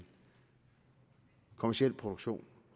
kommerciel produktion